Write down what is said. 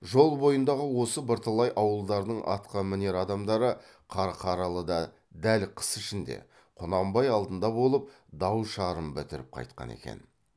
жол бойындағы осы бірталай ауылдардың атқамінер адамдары қарқаралыда дәл қыс ішінде құнанбай алдында болып дау шарын бітіріп қайтқан екен